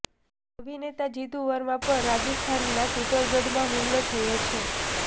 અભિનેતા જિતુ વર્મા પર રાજસ્થાનના ચિત્તોડગઢમાં હુમલો થયો છે